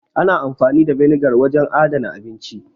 Ana amfani da vinegar wajen adana abinci.